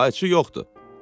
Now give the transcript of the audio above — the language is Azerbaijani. Qayçı yoxdur.